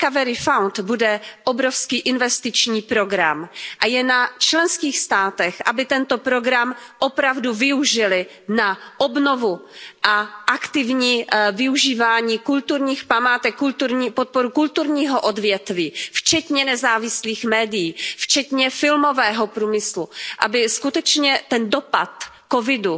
Recovery Fund bude obrovský investiční program a je na členských státech, aby tento program opravdu využily na obnovu a aktivní využívání kulturních památek, podporu kulturního odvětví, včetně nezávislých médií, filmového průmyslu, aby skutečně ten dopad krize COVID